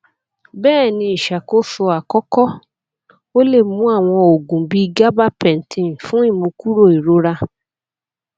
bẹẹ ni iṣakoso akọkọ o le mu awọn oogun bii gabapentin fun imukuro irora